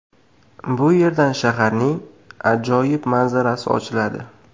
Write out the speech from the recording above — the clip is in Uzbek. Bu yerdan shaharning ajoyib manzarasi ochiladi.